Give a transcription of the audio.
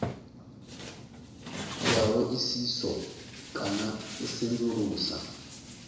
ya hoisiso kana u sedzulusa